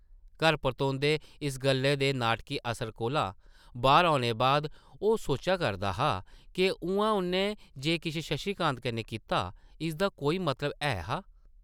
घर परतोंदे इस गल्लै दे नाटकी असर कोला बाह्र औने बाद, ओह् सोचा करदा हा’क उʼआं उʼन्नै जे किश शशि कांत कन्नै कीता, इसदा कोई मतलब है हा ?